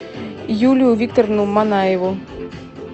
юлию викторовну манаеву